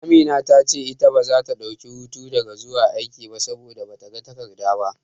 Amina ta ce ita baza ta dauki hutu daga zuwa aiki ba, saboda bata ga takarda ba.